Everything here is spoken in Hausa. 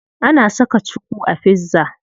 Ana saka cuku a pizza.